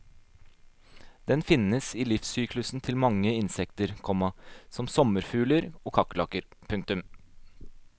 Den finnes i livssyklusen til mange insekter, komma som sommerfugler og kakerlakker. punktum